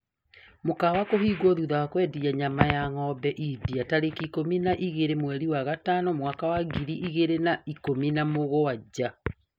Mũkawa kũhingwo thutha wa kwendia nyama ya ngombe India tarĩki ikũmi na igĩrĩ mweri wa gatano mwaka wa ngiri igĩrĩ na ikũmi na mũgwanja